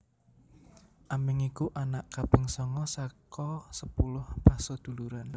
Aming iku anak kaping sanga saka sepuluh paseduluran